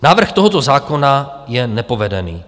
Návrh tohoto zákona je nepovedený.